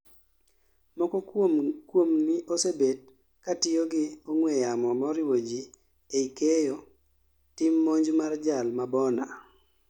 moko kuomni osebet katiyo gi ong'we yamo moriwo ji ei keyo tim monj mar jal mabona